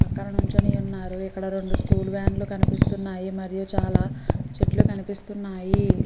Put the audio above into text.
పక్కన నించొని ఉన్నారు ఇక్కడ రుండు స్కూల్ వ్యాన్లు కనిపిస్తున్నాయి మరియు చాలా చెట్లు కనిపిస్తున్నాయి.